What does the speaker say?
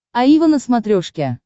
аива на смотрешке